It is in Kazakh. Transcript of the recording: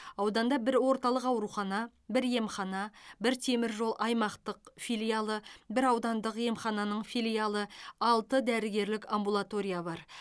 ауданда бір орталық аурухана бір емхана бір темір жол аймақтық филиалы бір аудандық емхананың филиалы алты дәрігерлік амбулатория бар